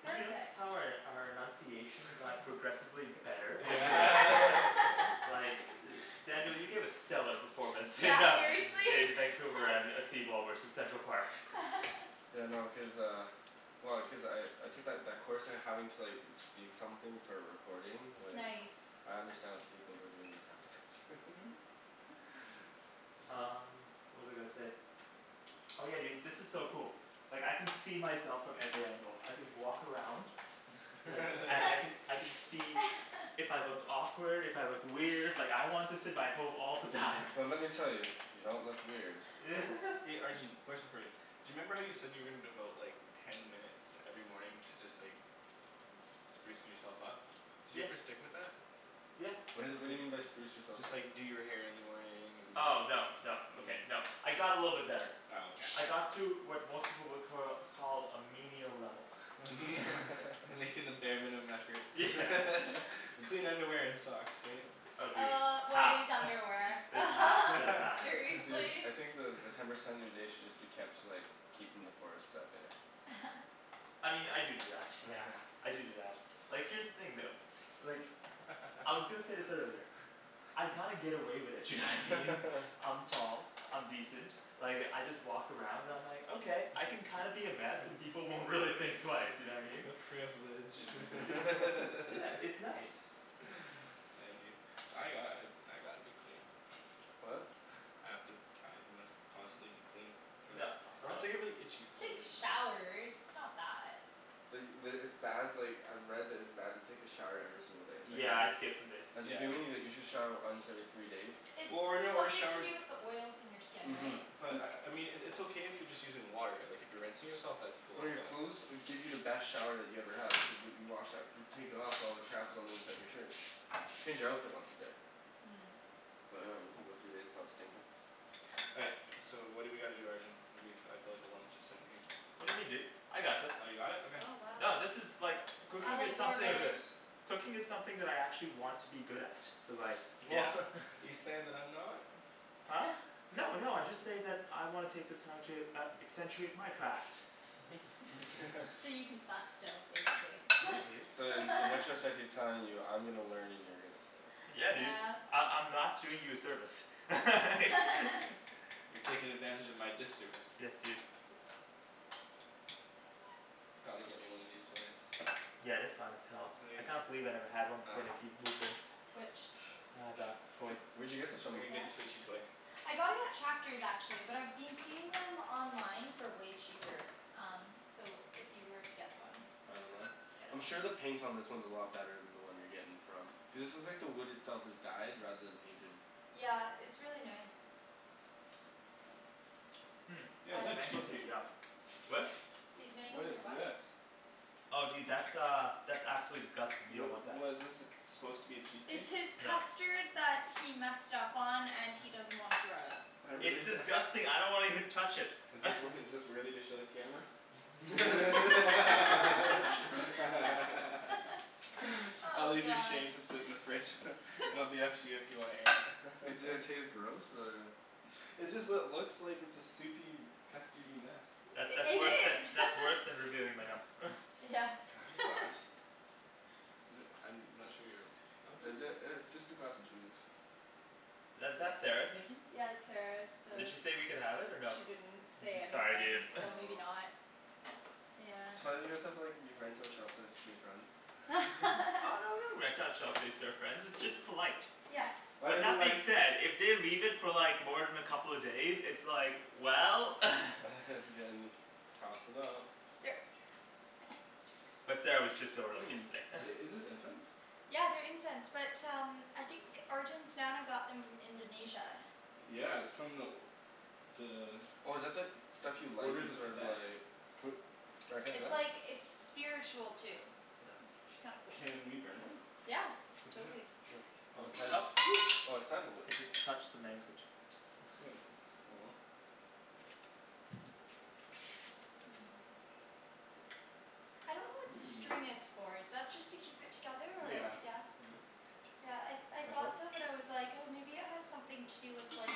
Did you notice Perfect. how our our enunciation got progressively better? Like, Daniel, you gave a stellar performance in Yeah, uh seriously. in Vancouver and uh seawall versus Central Park. Yeah, no cuz uh, well cuz I I took that that course and having to like speak something for a recording like Nice I understand what the people who are doing this have to go through Um, what was I gonna say? Oh yeah, dude, this is so cool. Like I can see myself from every angle, I can walk around. And, I can I can see if I look awkward, if I look weird, like I want this in my home all the time. Well let me tell you, you don't look weird. Arjan, question for you. Do you remember how you said you were gonna devote like ten minutes every morning to just like sprucing yourself up? Did you Yeah ever stick with that? Yeah What is it what do you mean by spruce yourself Just up? like do your hair in the morning and Oh no no okay no I got a little bit better Oh okay I got to what most people would cur call a menial level. Making the bare minimum effort clean underwear and socks, right? Oh dude, Uh what half is underwear just half just half Dude, seriously? I think the the ten percent of your day should just be kept to like keeping the forest out there. I mean, I do do that yeah, I do do that, like here's the thing though. Like, I was gonna say this earlier. I kinda get away with it, you know what I mean? I'm tall, I'm decent, like I just walk around and I'm like, okay I can kinda be a mess and people won't really think twice, you know what I mean? The privilege Yeah, it's nice I envy you I got- I gotta be clean. What? I have to I must constantly be clean No, or else no. I get really itchy for some Take reason. showers, it's not that. The the, it's bad like I've read that it's bad to take a shower every single day. Yeah, I skip some days. As a human you like you should shower once every three days. Or no, or Something to shower do with the oils in your skin, Mhm right? But, I I mean it it's okay if you're just using water like if you're rinsing yourself that's cool Well your but clothes will give you the best shower that you ever had which is what you wash out you take it off all the crap that's on the inside of your shirt. Change your outfit once a day. But I dunno you can go three days without stinkin'. All right, so what do we gotta do, Arjan? I feel like a lump just sittin' here. What do you mean dude, I got this. You got it? Okay. Oh wow No this is like, cooking is something, cooking is something that I actually want to be good at so like, yeah You saying that I'm not? No no I just say that I wanna take this time to uh accentuate my craft. So you can suck still, basically. So then, and I trust that he's telling you I'm gonna learn and you're gonna sit. Yeah dude, I- I'm not doing you a service You're taking advantage of my disservice. Yes, dude. Gotta get me one of these toys. Yeah, they're fine as hell, I It's can't believe I never had one like before Nikki moved in. Which? Uh, that toy. Where'd you get this from? I got it at Chapters actually, but I've been seeing them online for way cheaper, um so if you were to get one I'm sure the paint on this one is a lot better than the one you're getting from, cuz this is like the wood itself is dyed rather than painted. Yeah, it's really nice. Mm, Yo, these is that mangoes are cheesecake? yum. What? These What mangoes is are what? this? Oh dude that's uh, that's absolutely disgusting, you Wha- don't want that. What is this it's supposed to be a It's cheesecake? his custard that he messed up on and he doesn't wanna throw out. It's disgusting, I don't wanna even touch it Is this wor- is this worthy to show the camera? I'll Oh, leave your god shame to sit in the fridge it'll be up to you if you wanna air it. Does it taste gross or It just lo- looks like a soupy, custardy mess. That's that's I- it worse than is that's worse than revealing my num- Yeah, Can I have your glass? I'm not sure here, what? Is it uh it's just a glass of juice. Is that Sarah's, Nikki? Yeah that's Sarah's, so Did she say we could have it or no? She didn't say Sorry anything, dude so maybe not, yeah So why don't you guys have like, you rent out shelf space to your friends? Oh no we don't rent out shelf space to our friends, it's just polite. Yes. Why But didn't you that being like- said, if they leave it for like more than a couple of days it's like, well has to get in this, tossin' out Here. But Sarah was just over like Mm, yesterday i- is this incense? Yeah, they're incense, but um, I think Arjan's nana got them from Indonesia. Yeah, it's from the The Oh is that the, stuff you like orders that's of sort of Tibet like, It's like it's spiritual too, so it's kinda cool. Can we burn one? Yeah, For dinner. totally. Oh Titus, oh it's sandalwood. I just touched the mango jui- Oh, oh well. I don't know what the string is for, is that just to keep it together or? Yeah, Yeah? yeah. Yeah, I I thought so but I was like oh maybe it has something to do with like,